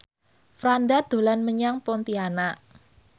Franda dolan menyang Pontianak